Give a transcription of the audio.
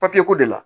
Papiyeko de la